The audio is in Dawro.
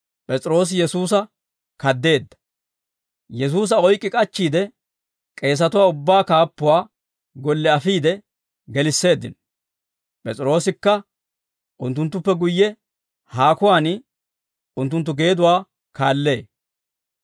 Yesuusa oyk'k'i k'achchiide, K'eesatuwaa ubbaa kaappuwaa golle afiide gelisseeddino. P'es'iroosikka unttunttuppe guyye haakuwaan unttunttu geeduwaa kaallee.